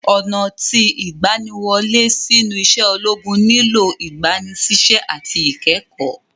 Ọna ti igbaniwole sinu ise ologun nilo igbanisise ati ikẹkọ.